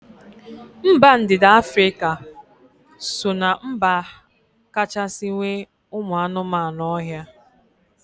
Mba ndịda Afrịka so ná mba kachasị nwee ụmụ anụmanụ ohia